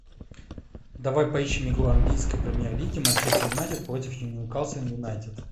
давай поищем игру английской премьер лиги манчестер юнайтед против ньюкасл юнайтед